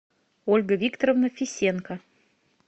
ольга викторовна фисенко